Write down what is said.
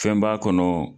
Fɛn b'a kɔnɔ